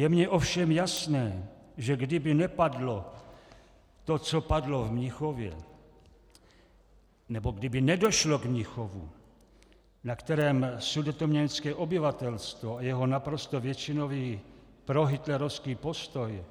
Je mně ovšem jasné, že kdyby nepadlo to, co padlo v Mnichově, nebo kdyby nedošlo k Mnichovu, na kterém sudetoněmecké obyvatelstvo a jeho naprosto většinový prohitlerovský postoj